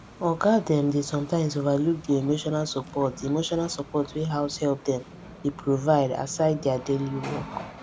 oga dem dey sometimes overlook the emotional support the emotional support wey househelp dem dey provide aside dia daily work